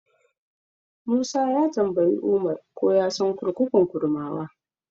Musa ya tambayi Umar ko ya san kurkukun Kurmawa.